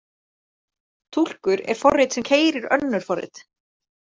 Túlkur er forrit sem keyrir önnur forrit.